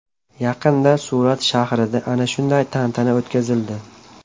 Yaqinda Surat shahrida ana shunday tantana o‘tkazildi.